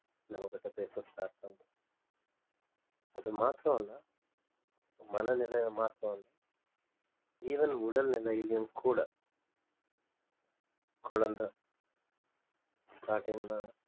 நம்ம கிட்ட பேச start பண்ணும் அது மாத்திரம் இல்லை மனநிலை மாற்றம் even உடல்நிலையிலும் கூட குழந்தை starting ல